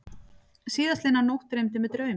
Síðastliðna nótt dreymdi mig draum.